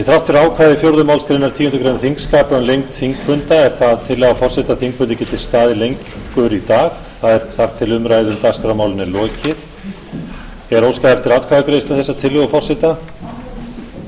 þrátt fyrir ákvæði fjórðu málsgreinar tíundu greinar þingskapa um lengd þingfunda er það tillaga forseta að þingfundur geti staðið lengur í dag þar til umræðu um dagskrármálin er lokið